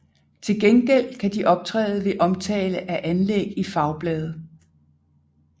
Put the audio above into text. Til gengæld kan de optræde ved omtale af anlæg i fagblade